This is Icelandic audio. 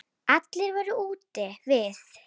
Allir voru úti við.